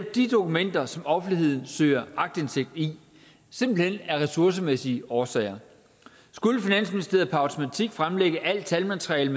de dokumenter som offentligheden søger aktindsigt i simpelt hen af ressourcemæssige årsager skulle finansministeriet per automatik fremlægge alt talmateriale